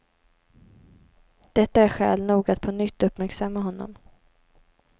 Detta är skäl nog att på nytt uppmärksamma honom.